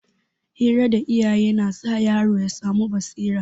Hira da iyaye na sa yaro ya samu basira.